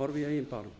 horfi á sig